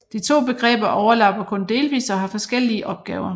De to begreber overlapper kun delvis og har forskellige opgaver